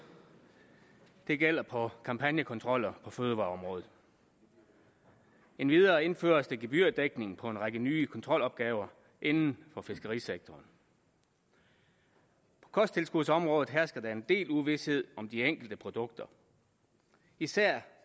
det gælder på kampagnekontroller på fødevareområdet endvidere indføres der gebyrdækning på en række nye kontrolopgaver inden for fiskerisektoren på kosttilskudsområdet hersker der en del uvished om de enkelte produkter især